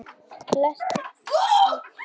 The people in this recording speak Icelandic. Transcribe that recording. Flestir flókar hafa lit.